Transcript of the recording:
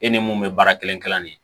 E ni mun bɛ baara kelen kelen de ye